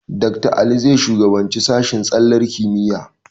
Dakta Ali zai shugabanci sashen tsallar kimiyya.